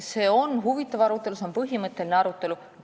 See on huvitav arutelu, see on põhimõtteline arutelu.